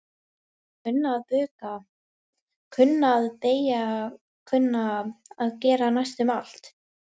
Kunna að bukka, kunna að beygja kunna að gera næstum allt.